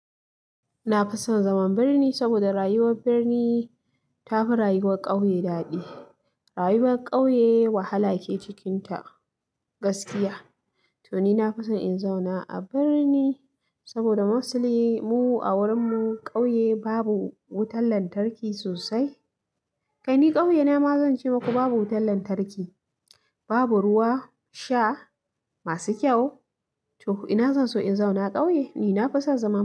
Na fison zaman birni saboda rayuwar birni tafi rayuwar ƙauye daɗi. Rayuwar ƙauye wahala ke cikinta gaskiya. To ni na fison in zauna a birni saboda musli mu a wurinmu ƙauye babu wutan lantarki sosai. Kai ni ƙauye na ma zan ce maku babu wutan lantarki, babu ruwa sha masu kyau. To ina zan so in zauna ƙauye. Ni na fason zama.